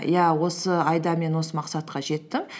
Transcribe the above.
иә осы айда мен осы мақсатқа жеттім